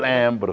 Lembro.